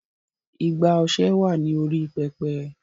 Igbá ọṣẹ.wa ní orí "Pẹpẹ".